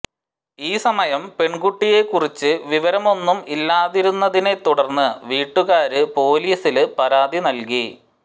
ഈ സമയം പെണ്കുട്ടിയെ കുറിച്ച് വിവരമൊന്നും ഇല്ലാതിരുന്നതിനെ തുടര്ന്ന് വീട്ടുകാര് പൊലീസില് പരാതി നല്കി